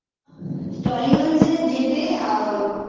টলিগঞ্জে যেতে আ